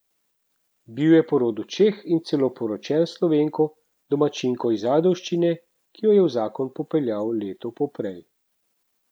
Bil je po rodu Čeh in celo poročen s Slovenko, domačinko iz Ajdovščine, ki jo je v zakon popeljal leto poprej.